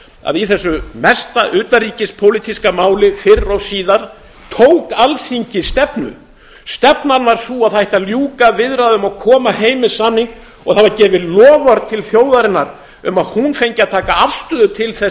að í þessu mesta utanríkispólitíska máli fyrr og síðar tók alþingi stefnu stefnan var sú að það ætti að ljúka viðræðum og koma heim með samning og það var gefið loforð til þjóðarinnar um að hún fengi að taka afstöðu til þess